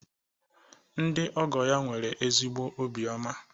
Ndị ọgọ ya nwere ezigbo obiọma